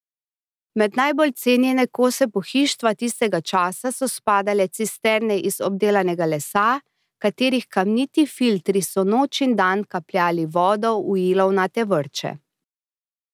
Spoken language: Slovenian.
Med najbolj cenjene kose pohištva tistega časa so spadale cisterne iz obdelanega lesa, katerih kamniti filtri so noč in dan kapljali vodo v ilovnate vrče.